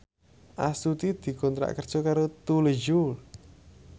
Astuti dikontrak kerja karo Tous Les Jour